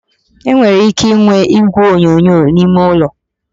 E nwere ike inwe igwe onyonyo n'ime ụlọ